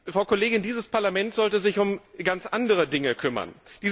Frau Kollegin, dieses Parlament sollte sich um ganz andere Dinge kümmern.